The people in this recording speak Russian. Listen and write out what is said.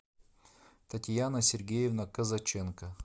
татьяна сергеевна казаченко